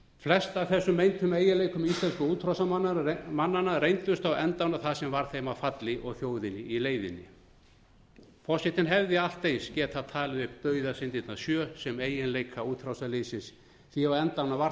flest af þessum meintum eiginleikum íslensku útrásarmannanna reyndust á endanum það sem varð þeim að falli og þjóðinni í leiðinni forsetinn hefði allt eins getað talið upp dauðasyndirnar sjö sem eiginleika útrásarliðsins því á endanum var